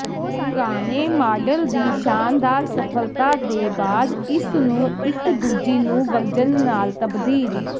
ਪੁਰਾਣੇ ਮਾਡਲ ਦੀ ਸ਼ਾਨਦਾਰ ਸਫਲਤਾ ਦੇ ਬਾਅਦ ਇਸ ਨੂੰ ਇੱਕ ਦੂਜੀ ਨੂੰ ਵਰਜਨ ਨਾਲ ਤਬਦੀਲ